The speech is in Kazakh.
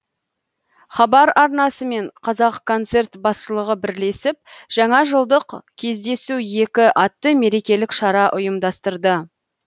хабар арнасы мен қазақконцерт басшылығы бірлесіп жаңа жылдық кездесу екі атты мерекелік шара ұйымдастырды